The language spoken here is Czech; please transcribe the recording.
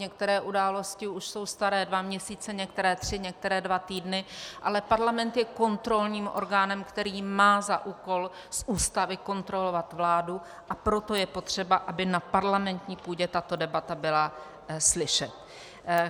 Některé události už jsou staré dva měsíce, některé tři, některé dva týdny, ale parlament je kontrolním orgánem, který má za úkol z Ústavy kontrolovat vládu, a proto je potřeba, aby na parlamentní půdě tato debata byla slyšet.